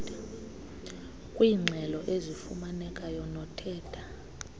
kwiingxelo ezifumanekayo nothetha